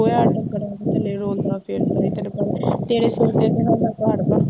ਗੋਹਾ ਹਾਲੇ ਰੁੱਲਦਾ ਫਿਰਦਾ ਹੈ ਤੈਨੂੰ ਪਤਾ ਹੈ ਤੇਰੇ ਸਿਰ ਤੇ ਤਾਂ ਸਾਡਾ ਘਰ ਵਾ